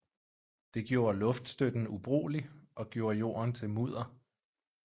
Det gjorde luftstøtten ubrugelig og gjorde jorden til mudder